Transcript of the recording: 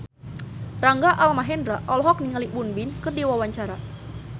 Rangga Almahendra olohok ningali Won Bin keur diwawancara